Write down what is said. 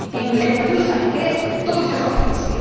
ya? En Lampedusa, en Grecia, en todos esos países.